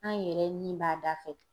An yɛrɛ nin b'a da fɛ.